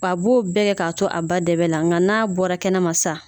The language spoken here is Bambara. W'a b'o bɛɛ kɛ k'a to a ba dɛbɛ la ŋa n'a bɔra kɛnɛma sa